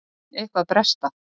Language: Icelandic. Finn eitthvað bresta.